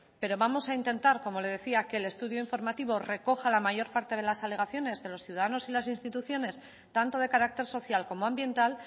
pero vamos a intentar como le decía que el estudio informativo recoja la mayor parte de las alegaciones de los ciudadanos y las instituciones tanto de carácter social como ambiental